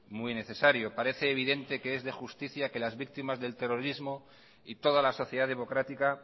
muy necesario parece evidente que es de justicia que las víctimas del terrorismo y toda la sociedad democrática